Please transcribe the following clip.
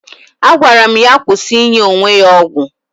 Agwara m ya kwụsị inye onwe ya ọgwụ